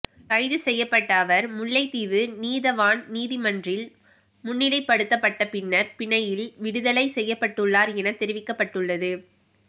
கைது செய்யப்பட்ட அவர் முல்லைத்தீவு நீதவான் நீதிமன்றில் முன்னிலைப்படுத்தப்பட்ட பின்னர் பிணையில் விடுதலை செய்யப்பட்டுள்ளார் என தெரிவிக்கப்பட்டுள்ளது